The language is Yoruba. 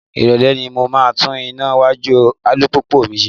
Irole ni mo máa tún iná iwájú alùpùpù mi ṣe.